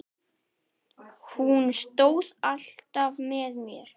Hún stóð alltaf með mér.